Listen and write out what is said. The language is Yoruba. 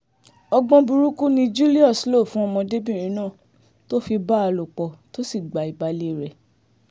ọgbọ́n burúkú ni julius lò fún ọmọdébìnrin náà tó fi bá a lò pọ̀ tó sì gba ìbàlẹ̀ rẹ̀